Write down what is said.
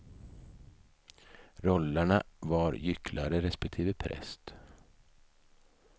Rollerna var gycklare, respektive präst.